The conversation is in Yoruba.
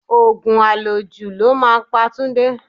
Òògùn àlòjù ló máa pa Túndé